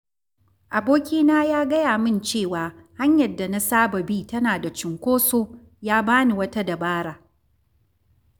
Abokina ya gaya min cewa hanyar da na saba bi tana da cunkoso, ya ba ni wata dabara.